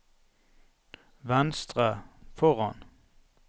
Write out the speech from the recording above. venstre foran